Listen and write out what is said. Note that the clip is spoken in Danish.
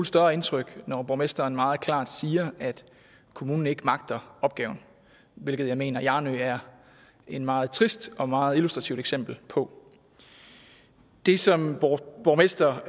større indtryk når borgmesteren meget klart siger at kommunen ikke magter opgaven hvilket jeg mener at hjarnø er et meget trist og meget illustrativt eksempel på det som borgmesteren